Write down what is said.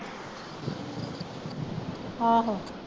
ਆਹੋ